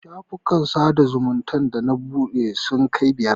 Shafukan sada zumunta da na buɗe sun kai biyar.